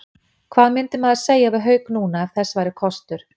Hvað myndi maður segja við Hauk núna, ef þess væri kostur?